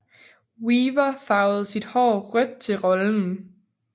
Weaver farvede sit hår rødt til rollen